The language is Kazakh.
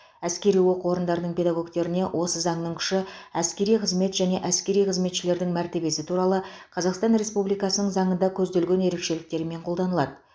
әскери оқу орындарының педагогтеріне осы заңның күші әскери қызмет және әскери қызметшілердің мәртебесі туралы қазақстан республикасының заңында көзделген ерекшеліктермен қолданылады